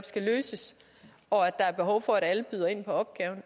skal løses og at der er behov for at alle byder ind på opgaven